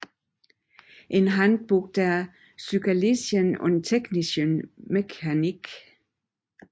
In Handbuch der physikalischen und technischen Mechanik